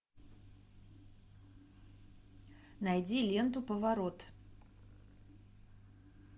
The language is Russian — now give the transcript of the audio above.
найди ленту поворот